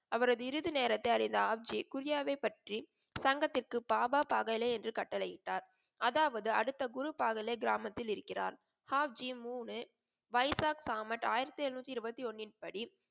அவரது இறுதி நேரத்தை அறிந்த ஹாப்சி குரியவை பற்றி சங்கத்திற்கு பாபா பாகலே என்று கட்டளை இட்டார். அதாவது அடுத்த குரு பாகலின் கிராமத்தில் இருக்கிறார். ஹப்ஜி மூன்னு வைசாக் தாமஸ் ஆயிரத்தி எளுநூத்தி இருபத்தி ஒன்னின் படி,